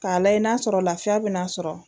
K'a lajɛ i n'a sɔrɔ lafiya bɛna sɔrɔ